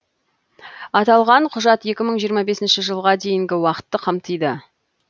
аталған құжат екі мың жиырма бесінші жылға дейінгі уақытты қамтиды